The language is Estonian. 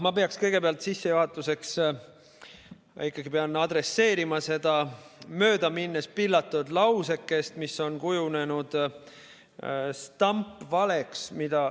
Ma peaks kõigepealt sissejuhatuseks adresseerima seda möödaminnes pillatud lausekest, mis on kujunenud stampvaleks.